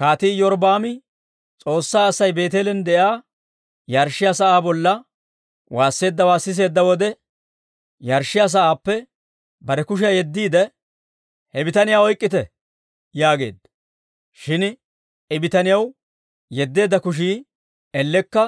Kaatii Iyorbbaami S'oossaa Asay Beeteelen de'iyaa yarshshiyaa sa'aa bolla waasseeddawaa siseedda wode, yarshshiyaa sa'aappe bare kushiyaa yeddiide, «He bitaniyaa oyk'k'ite!» yaageedda. Shin I bitaniyaw yeddeedda kushii ellekka